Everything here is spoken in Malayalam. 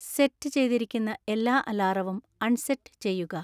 സെറ്റ് ചെയ്തിരിക്കുന്ന എല്ലാ അലാറവും അൺസെറ്റ് ചെയ്യുക